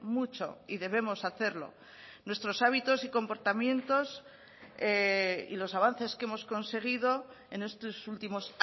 mucho y debemos hacerlo nuestros hábitos comportamientos y los avances que hemos conseguido en estos últimos